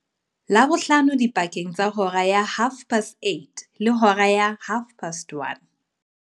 Labohlano dipakeng tsa hora ya 08:30 le hora ya 13:30.